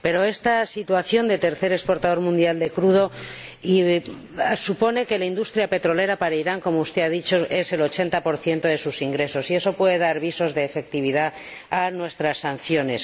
Pero esta situación de tercer exportador mundial de crudo supone que la industria petrolera es para Irán como usted ha dicho el 80 de sus ingresos, y esto puede dar visos de efectividad a nuestras sanciones.